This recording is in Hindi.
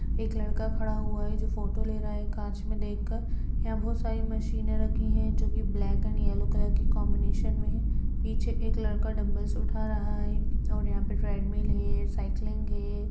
एक लड़का खड़ा हुआ है जो फोटो ले रहा है कांच मे देख कर यहाँ बहुत सारी मशीनें रखी हैं जो की ब्लैक एण्ड येल्लो कलर की कॉम्बिनेशन मे है पीछे एक लड़का डंबल सा उठा रहा हैऔर यहाँ पर ट्रेड मिल है साइकलिंग है।